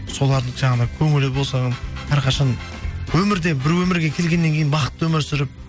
солардың жаңағындай көңілі болсын әрқашан өмірде бір өмірге келгеннен кейін бақытты өмір сүріп